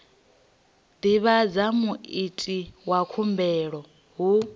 divhadza muiti wa khumbelo hu